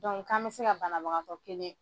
Dɔnku k'an bɛ se ka banabagatɔ kelen.